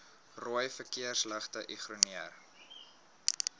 rooi verkeersligte ignoreer